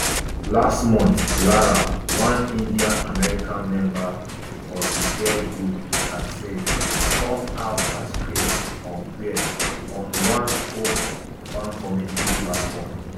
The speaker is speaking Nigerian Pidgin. just last month lara one indianamerican member of di girl group katseye come out as queer on queer on one kpop fan community platform